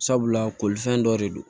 Sabula kolifɛn dɔ de don